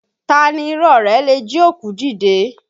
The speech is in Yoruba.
Taa ni irọ́ rẹ̀ le jí òkú dìde?